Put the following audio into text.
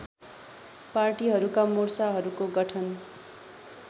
पार्टीहरूका मोर्चाहरूको गठन